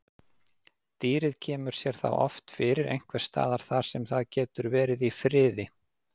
Dýrið kemur sér þá oft fyrir einhvers staðar þar sem það getur verið í friði.